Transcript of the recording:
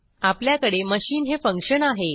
आपल्याकडे मशीन हे फंक्शन आहे